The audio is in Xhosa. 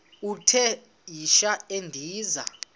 uthi yishi endiza